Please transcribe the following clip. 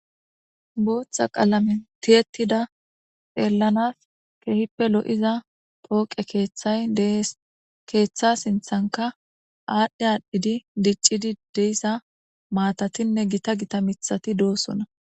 booththa qaalamen tiyetida xeellanas keehippe lo7iza pooqe keeththay dees keeththa sinthanka aadhdhe aadhdhidi diccidi deissa maatatinne gita gita mithati doossona